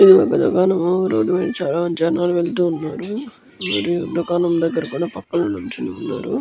ఇది ఒక దుకాణము రోడ్డు మీద చాలా జనాలు వెళ్తున్నారు మరియు దుకాణం దగ్గర కూడ పక్కలో నిల్చొని ఉన్నారు --